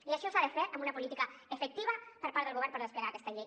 i això s’ha de fer amb una política efectiva per part del govern per desplegar aquesta llei